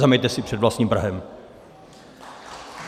Zameťte si před vlastním prahem!